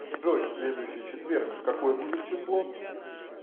джой следующий четверг какое будет число